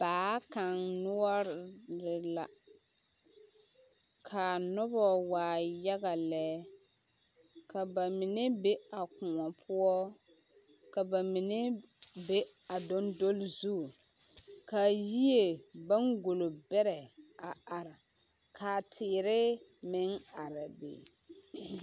Baa kaŋ noɔre la ka noba waa yaga lɛ ka ba mine be a koɔ poɔ ka ba mine be a dondoli zu ka yie baŋgolo bɛrɛ a are ka teere meŋ are a be.